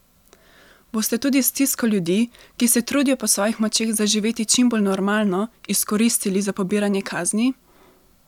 Boste tudi stisko ljudi, ki se trudijo po svojih močeh zaživeti čim bolj normalno, izkoristili za pobiranje kazni?